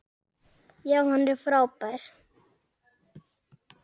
Já, hann er frábær.